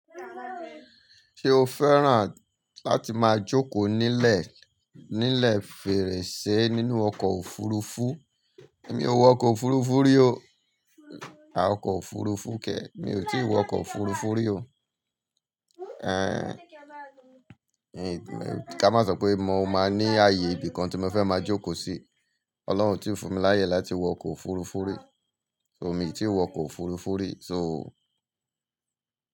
Ṣé o fẹ́ràn láti máa jókòó nílẹ̀, nílẹ̀ fèrèsé nínú ọkọ̀ òfurufú? Èmi ò wọ ọkọ̀ òfurufú rí o. A, ọkọ̀ òfurufú kẹ̀, mi ò tí ì wọ ọkọ̀ òfurufú rí o. Ẹn, kí a má sọ pé mo máa ní ààyè ibi kan tí mo fẹ́ máa jókòó sí. Ọlọ́run ò tí fún mi láyè láti wọ ọkọ̀ òfurufú rí. So mi tí wọ ọkọ̀ òfurufú rí. So.